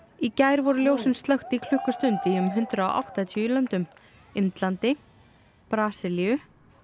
í gær voru ljósin slökkt í klukkustund í um hundrað og áttatíu löndum Indlandi Brasilíu